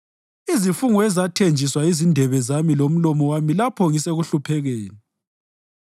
Izifungo ezathenjiswa yizindebe zami lomlomo wami lapho ngisekuhluphekeni.